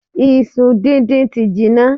Iṣu díndín ti jinná.